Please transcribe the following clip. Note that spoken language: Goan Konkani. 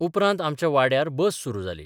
उपरांत आमच्या वाड्यार बस सुरू जाली.